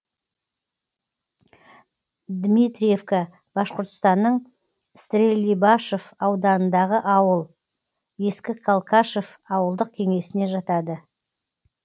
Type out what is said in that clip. дмитриевка башқұртстанның стерлибашев ауданындағы ауыл ескі калкашев ауылдық кеңесіне жатады